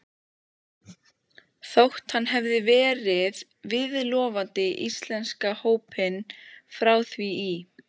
Þótt hann hefði verið viðloðandi íslenska hópinn frá því í